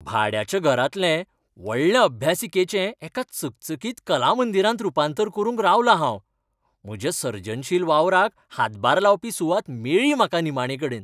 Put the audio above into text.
भाड्याच्या घरांतले व्हडले अभ्यासिकेचें एका चकचकीत कलामंदिरांत रूपांतर करूंक रावलां हांव. म्हज्या सर्जनशील वावराक हातभार लावपी सुवात मेळ्ळी म्हाका निमाणेकडेन.